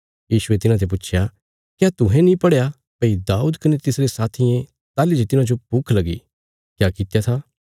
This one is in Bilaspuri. यीशुये तिन्हांते पुच्छया क्या तुहें नीं पढ़या भई दाऊद कने तिसरे साथियें ताहली जे तिन्हांजो भुख लगी क्या कित्या था